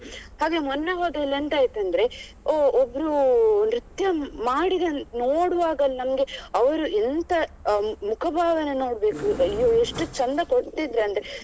ಹಾಗೆ ಮೊನ್ನೆ ಹೋದಲ್ಲಿ ಎಂತ ಆಯ್ತು ಅಂದ್ರೆ ಓ ಒಬ್ರು ನೃತ್ಯ ಮಾಡಿದನ್ ನೋಡುವಾಗಲೇ ನಮ್ಗೆ ಅವರು ಎಂತ ಅಹ್ ಮುಖಭಾವನೆ ನೋಡ್ಬೇಕು ಅಯ್ಯೋ ಎಷ್ಟು ಚಂದ ಕೊಡ್ತಿದ್ರಂದ್ರೆ.